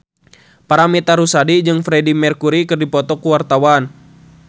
Paramitha Rusady jeung Freedie Mercury keur dipoto ku wartawan